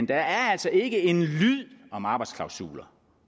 der altså ikke en lyd om arbejdsklausuler